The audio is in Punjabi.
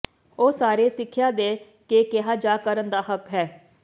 ਉਹ ਸਾਰੇ ਸਿੱਖਿਆ ਦੇ ਕੇ ਕਿਹਾ ਜਾ ਕਰਨ ਦਾ ਹੱਕ ਹੈ